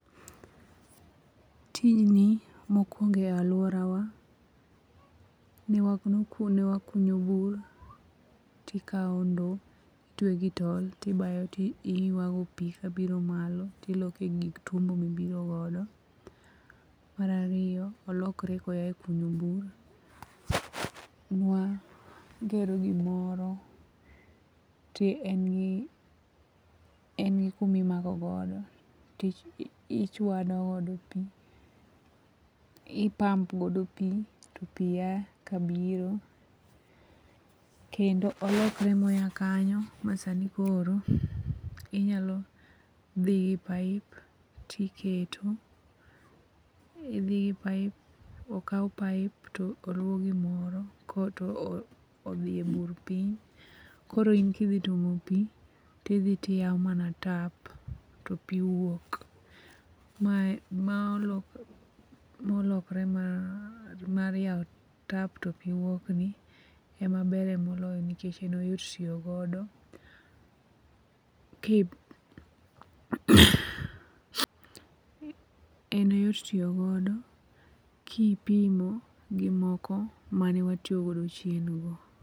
Tijni mokwongo e alworawa ne wakunyo bur tikawo ndo itwe gi tol tibayo tiywago pi kabiro malo tiloko e gik twombo mibiro godo. Mar ariyo olokore koya e kunyo bur, nwagero gimoro to en gi kuma imakogodo tichwado godo pi, i pump godo pi to pi ya kabiro. Kendo olokre moya kanyo masani koro inyalo dhi gi paip tiketo, idhi gi paip, okaw paip to oluow gimoro korto odhi e bur piny koro in kidhi tuomo pi tidhi tiyawo mana tap topi wuok. Mae molokre mar yawo tap to pi wuokni ema bere moloyo nikech en oyot tiyo godo[ iko duonde] kipimo gi moko mane watiyogodo chien go.